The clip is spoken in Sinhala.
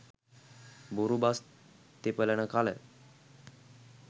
බොරු බස් තෙපලන කළ